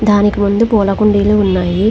దానికి ముందు పూల కుండీలు ఉన్నాయి.